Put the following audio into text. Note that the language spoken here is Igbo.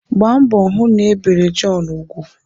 Gbaa mbọ hụ na-ebere Jọn ugwu